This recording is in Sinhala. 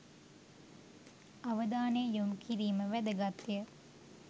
අවධානය යොමු කිරීම වැදගත්ය.